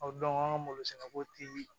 O an ka malo sɛnɛ ko ti